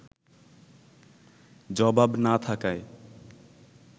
জবাব না থাকায়